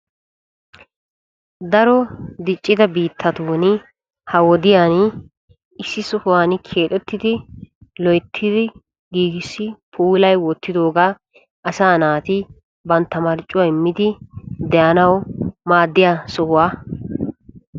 Daro diccidda biittatun ha wodiyan issi shouwan keexxettidda asay ba marccuwa immiddi de'anawu maaddiya sohuwaa.